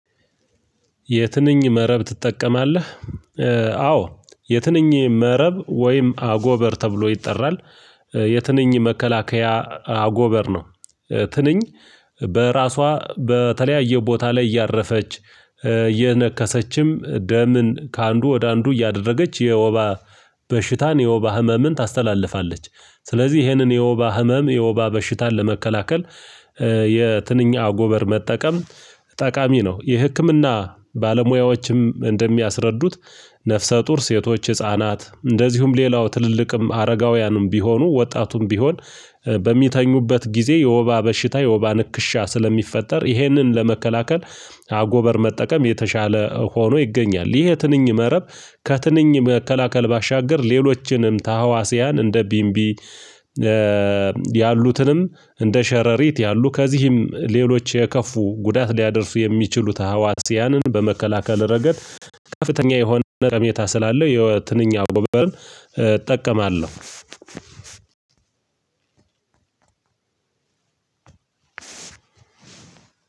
የትንኝ መረብ ትጠቀማለህ? አዎ የትንኝ መረብ ወይም አጎበር ተብሎ ይጠራል የትንኝ መከላከያ አጎበር ነው። ትንኝ በራሷ በተለያየ ቦታ ላይ እያረፈች እየነከሰችም ደምን ከአንዱ ወደ አንዱ እያደረገች የወባ በሽታን የወባ ህመምን ታስተላልፋለች። ስለዚህ ይህንን የወባ ህመም የወባ በሽታን ለመከላከል የትንኝ አጎበር መጠቀም ጠቃሚ ነው። የህክምና ባለሙያዎችም እንደሚያስረዱት ነፍሰ ጡር ሴቶች ህፃናት እንደዚሁም ሌላው ትልልቅም አረጋውያንም ቢሆኑ ወጣቱም ቢሆን በሚተኙበት ጊዜ የወባ በሽታ የወባ ንክሻ ስለሚፈጠር ይህንን ለመከላከል አጎበር መጠቀም የተሻለ ሆኖ ይገኛል። ይህ የትንኝ መረብ ከትንኝ መከላከል ባሻገር ሌሎችንም ታህዋስያን እንደ ቢምቢ። ያሉትንም እንደ ሸረሪት ያሉ ከዚህም ሌሎች የከፉ ጉዳት ሊያደርሱ የሚችሉት ተህዋስያንን በመከላከል ረገድ ከፍተኛ የሆነ ጠቀሜታ ስላለው የ ትንኝ አጎበርን እጠቀማለሁ።